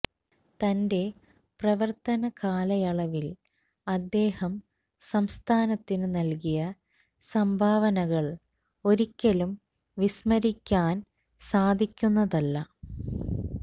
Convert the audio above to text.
തന്റെ പ്രവർത്തന കാലയളവിൽ അദ്ദേഹം സംസ്ഥാനത്തിന് നൽകിയ സംഭാവനകൾ ഒരിക്കലും വിസ്മരിക്കാൻ സാധിക്കുന്നതല്ല